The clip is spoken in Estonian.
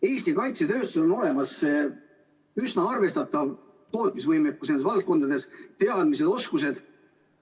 Eesti kaitsetööstusel on olemas üsna arvestatav tootmisvõimekus nendes valdkondades, on teadmised ja oskused.